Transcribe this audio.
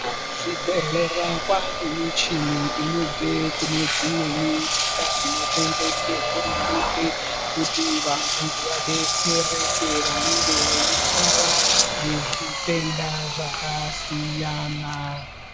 Ku zvibhedhlera kwane michini inobve kune dzimweni nyika inotengwe nge hurumende kuti vantu vadetsereke vanenge veyi rwara nge zvitenda zvaka siyana.